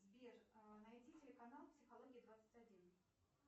сбер найди телеканал психология двадцать один